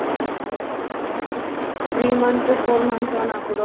ஓ பரவாயில்லையே three months four months ஆனா கூட